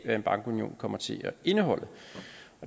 hvad en bankunion kommer til at indeholde